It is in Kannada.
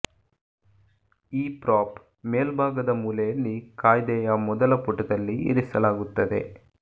ಈ ಪ್ರಾಪ್ ಮೇಲ್ಭಾಗದ ಮೂಲೆಯಲ್ಲಿ ಕಾಯ್ದೆಯ ಮೊದಲ ಪುಟದಲ್ಲಿ ಇರಿಸಲಾಗುತ್ತದೆ